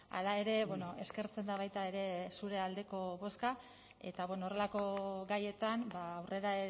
hala ere eskertzen da baita ere zure aldeko bozka eta horrelako gaietan aurrera